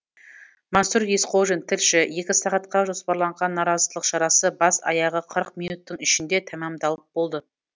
мансұр есқожин тілші екі сағатқа жоспарланған наразылық шарасы бас аяғы қырық минуттың ішінде тәмамдалып болды